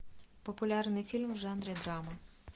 популярный фильм в жанре драма